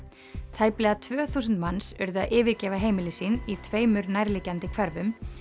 tæplega tvö þúsund manns urðu að yfirgefa heimili sín í tveimur nærliggjandi hverfum